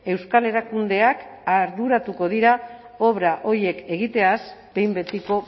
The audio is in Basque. euskal erakundeak arduratuko dira obra horiek egiteaz behin betiko